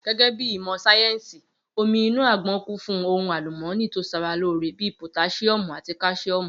Gé̩gé̩ bí ìmò̩ sáyè̩nsì, omí inú àgbo̩n kún fún ohun àlùmó̩nì tó s̩aralóore bí i pòtás̩íó̩mù àti kás̩íò̩mù